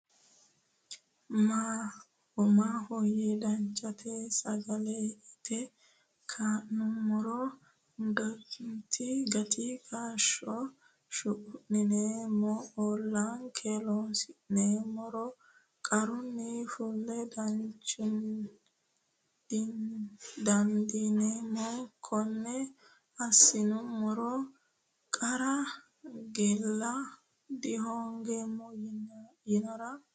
Maahoyye danchatena sagale inte ka’nummoro, gati kaashsho shuqunneemmo Ollonke loonsummoro qarrunni fula dandiineemmo Konne assinummoro qarra qeela dihoongeemmo yiinara ?